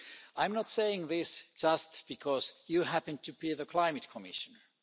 I'm not saying this just because you happen to be the Climate Commissioner.